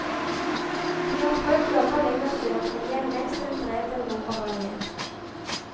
De har prøvd jobber lenger sør, men hjemlengselen drev dem nordover igjen.